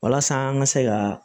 Walasa an ka se ka